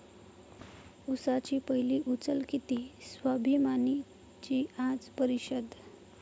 उसाची पहिली उचल किती? 'स्वाभिमानी'ची आज परिषद